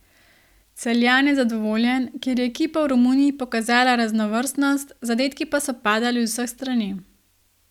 Celjan je zadovoljen, ker je ekipa v Romuniji pokazala raznovrstnost, zadetki so padali z vseh strani.